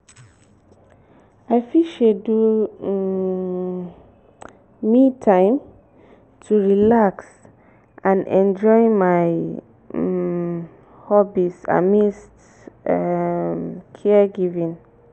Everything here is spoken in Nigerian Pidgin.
i fit schedule um "me time" to relax and enjoy my um hobbies amidst um caregiving.